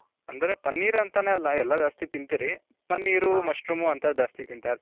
ಅಂದ್ರೆ ಪನ್ನೀರ್ ಅಂತಾನೆ ಅಲ್ಲ, ಎಲ್ಲಾ ಜಾಸ್ತಿ ತಿನ್ತಿರಿ, paneer mushroom ಅಂತದು ಜಾಸ್ತಿ ತಿಂತಾ ಇರ್ತಿವಿ .